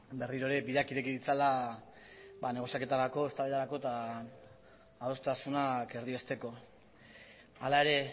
berriro ere bideak ireki ditzala negoziaketarako eztabaidarako eta adostasunak erdiesteko hala ere